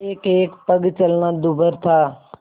एकएक पग चलना दूभर था